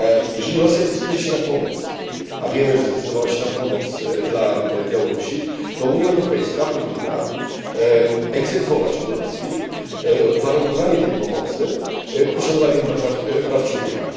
Jeżeli Rosja decyduje się na pomoc, a wiemy, że zdecydowała się na pomoc dla Białorusi, to Unia Europejska powinna egzekwować od Rosji uwarunkowanie tej pomocy od poszanowania praw człowieka.